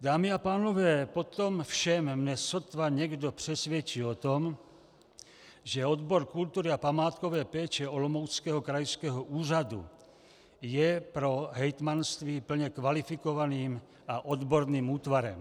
Dámy a pánové, po tom všem mne sotva někdo přesvědčí o tom, že odbor kultury a památkové péče Olomouckého krajského úřadu je pro hejtmanství plně kvalifikovaným a odborným útvarem.